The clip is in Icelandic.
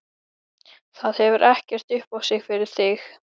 Það hefur ekkert upp á sig fyrir þig.